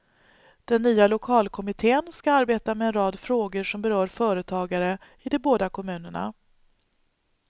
Den nya lokalkommitten ska arbeta med en rad frågor som berör företagare i de båda kommunerna.